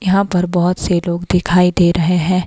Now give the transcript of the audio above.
यहां पर बहुत से लोग दिखाई दे रहे हैं।